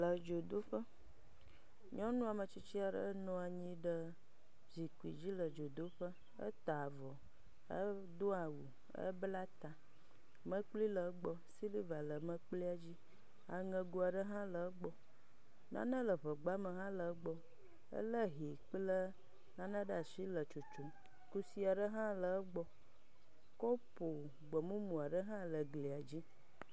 Le dzodoƒe, nyɔnu ame tsitsi aɖe nɔ anyi ɖe zikpui dzi le dzodoƒe, eta avɔ, edo awu, ebla ta, mekpli le egbɔ, siliva le mekplia dzi, aŋego aɖe hã le egbɔ, nane le ŋegbame hele egbɔ, elé hɛ kple nane ɖe asi le tsotsom, kusi aɖe hã le egbɔ, kɔpo gbemumu aɖe hã le glia dzi.